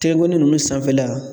Tɛgɛnkɔni ninnu sanfɛla